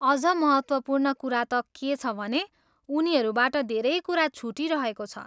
अझ महत्त्वपूर्ण कुरा त के छ भने, उनीहरूबाट धेरै कुरा छुटिरहेको छ।